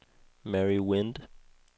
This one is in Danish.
Mary Wind